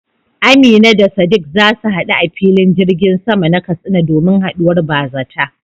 Amina da Sadiq za su hadu a filin jirgin sama na Katsina domin haduwar bazata.